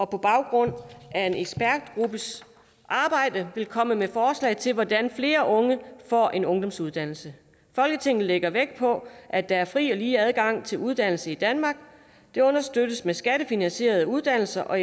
på baggrund af en ekspertgruppes arbejde komme med forslag til hvordan flere unge får en ungdomsuddannelse folketinget lægger vægt på at der er fri og lige adgang til uddannelse i danmark det understøttes med skattefinansierede uddannelser og